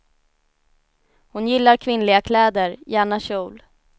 Hon gillar kvinnliga kläder, gärna kjol.